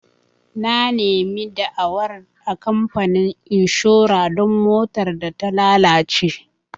Na nemi da'awar a kamfanin inshora don motar da ta lalace.